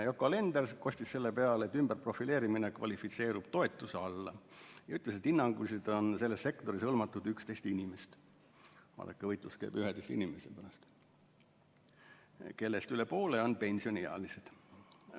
Yoko Alender kostis selle peale, et ümberprofileerimine kvalifitseerub toetuse alla, ja ütles, et hinnanguliselt on selles sektoris hõlmatud 11 inimest – vaadake, võitlus käib 11 inimese pärast –, kellest üle poole on pensioniealised.